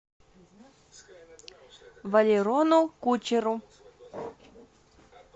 валерону кучеру